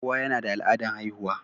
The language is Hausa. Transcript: Kowa yana da al'adan haihuwa.